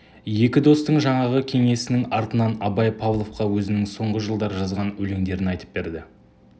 екі достың жаңағы кеңесінің артынан абай павловқа өзінің соңғы жылдар жазған өлеңдерін айтып берді